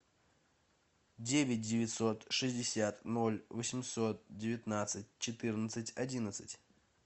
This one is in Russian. девять девятьсот шестьдесят ноль восемьсот девятнадцать четырнадцать одиннадцать